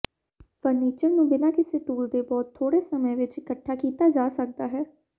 furniture ਨੂੰ ਬਿਨਾਂ ਕਿਸੇ ਟੂਲ ਦੇ ਬਹੁਤ ਥੋੜੇ ਸਮੇਂ ਵਿਚ ਇਕੱਠਾ ਕੀਤਾ ਜਾ ਸਕਦਾ ਹੈ